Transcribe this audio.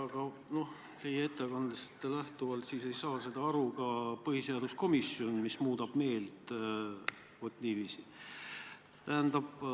Aga teie ettekandest lähtudes ei saa sellest aru ka põhiseaduskomisjon, kui see muudab meelt vot niiviisi.